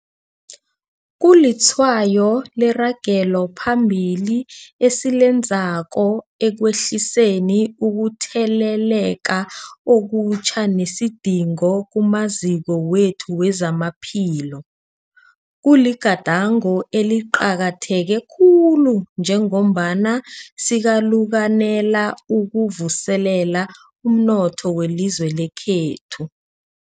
Kulitshwayo leragelo phambili esilenzako ekwehliseni ukutheleleka okutjha nesidingo kumaziko wethu wezamaphilo. Kuligadango eliqakatheke khulu njengombana sikalukanela ukuvuselela umnotho welizwe lekhethu.